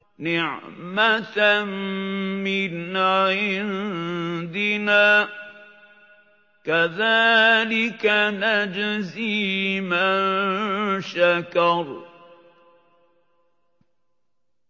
نِّعْمَةً مِّنْ عِندِنَا ۚ كَذَٰلِكَ نَجْزِي مَن شَكَرَ